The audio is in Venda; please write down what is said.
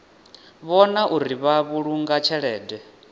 vhona uri vha vhulunga tshelede